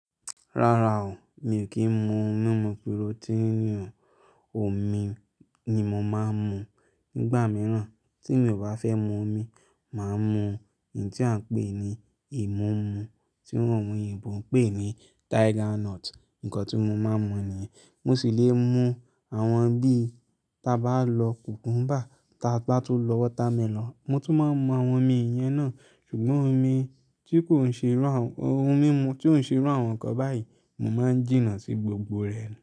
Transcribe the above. Rárá o, mi ò kí ń mu ohun mímu protein o, omi ni mo máa ń mu. Nígbà mìíràn tí mi ò bá fẹ́ mu omi, màá mu èyí tí a ń pè ní ìmúmu, tí àwọn oyinbo ń pè ní tiger nut. Nǹkan tí mo máa ń mu ni, mo sì lè mu àwọn bí i ta bá lọ cucumber, ta bá tun lọ watermelon. Mo tún máa ń mu àwọn omi ìyẹn náà, ṣùgbọ́n omi tí kò ń ṣe irú àwọn, ohun mímu tí ò ń ṣe irú àwọn nǹkan báyìí, mo máa ń jìnnà sí gbogbo rẹ̀.